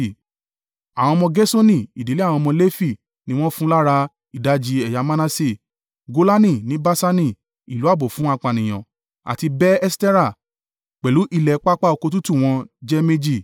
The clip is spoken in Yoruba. Àwọn ọmọ Gerṣoni ìdílé àwọn ọmọ Lefi ni wọ́n fún lára: ìdajì ẹ̀yà Manase, Golani ní Baṣani (ìlú ààbò fún apànìyàn) àti Be-Eṣterah pẹ̀lú ilẹ̀ pápá oko tútù wọ́n jẹ́ méjì.